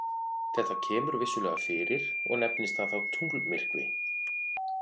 Þetta kemur vissulega fyrir og nefnist það þá tunglmyrkvi.